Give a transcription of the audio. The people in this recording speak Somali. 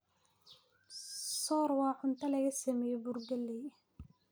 soor waa cunto laga sameeyay bur galley